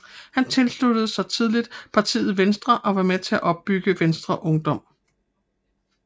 Han tilsluttede sig tidligt partiet Venstre og var med til at opbygge Venstres Ungdom